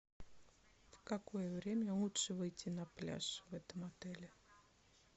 в какое время лучше выйти на пляж в этом отеле